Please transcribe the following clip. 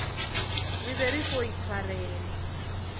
re be re fo itshwarela